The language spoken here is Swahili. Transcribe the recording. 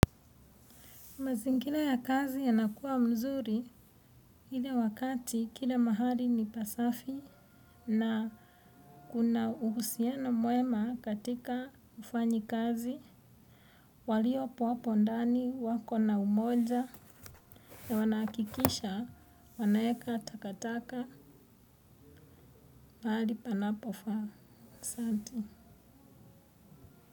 Mazingira ya kazi yanakuwa mazuri ile wakati kila mahali ni pasafi na kuna uhusiano mwema katika ufanyaji kazi. Walipo hapo ndani wakona umoja na wanahakikisha wanaweka takataka pahali panapofaa. Asante.